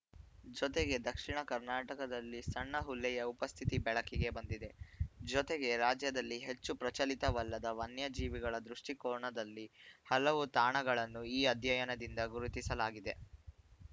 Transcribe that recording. ಜೊತೆಗೆ ದಕ್ಷಿಣ ಕರ್ನಾಟಕದಲ್ಲಿ ಸಣ್ಣ ಹುಲ್ಲೆಯ ಉಪಸ್ಥಿತಿ ಬೆಳಕಿಗೆ ಬಂದಿದೆ ಜೊತೆಗೆ ರಾಜ್ಯದಲ್ಲಿ ಹೆಚ್ಚು ಪ್ರಚಲಿತವಲ್ಲದ ವನ್ಯಜೀವಿಗಳ ದೃಷ್ಟಿಕೋನದಲ್ಲಿ ಹಲವು ತಾಣಗಳನ್ನು ಈ ಅಧ್ಯಯನದಿಂದ ಗುರುತಿಸಲಾಗಿದೆ